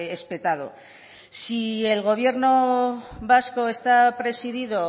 espetado si el gobierno vasco está presidido